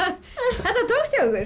þetta tókst hjá ykkur